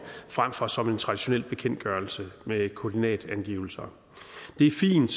frem for som en traditionel bekendtgørelse med koordinatangivelser det er fint